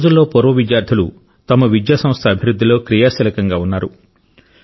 ఈ రోజుల్లో పూర్వ విద్యార్థులు తమ విద్యాసంస్థ అభివృద్ధిలో క్రియాశీలంగా ఉన్నారు